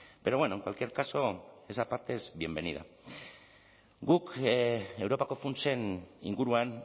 pero bueno en cualquier caso esa parte es bienvenida guk europako funtsen inguruan